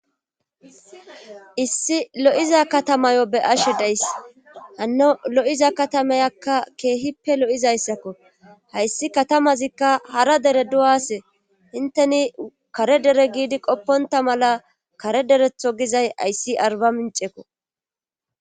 Issi lo'iza katamayo be ashe dayss hanno lo'iza katamayakka keehippe lo7izayssakko hayssi katamazikka hara dere du'ase hinteni kare dere giidi qopponta mala kare deretho gizay ayssi arba mincekko.